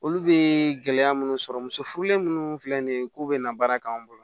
Olu bɛ gɛlɛya minnu sɔrɔ muso furulen minnu filɛ nin ye k'u bɛ na baara k'an bolo